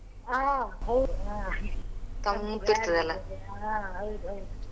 ಹ ಹೌದು ಹ ಹಾ ಹೌದು ಹೌದು.